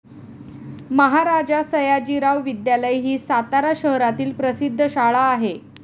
महाराजा सयाजीराव विद्यालय ही सातारा शहरातील प्रसिद्ध शाळा आहे.